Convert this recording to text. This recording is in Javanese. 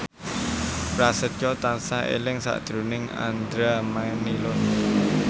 Prasetyo tansah eling sakjroning Andra Manihot